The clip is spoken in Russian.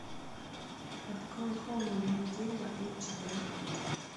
открой холм одного дерева эйч д